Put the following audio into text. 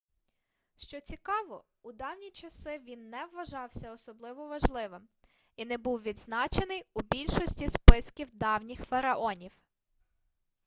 що цікаво у давні часи він не вважався особливо важливим і не був відзначений у більшості списків давніх фараонів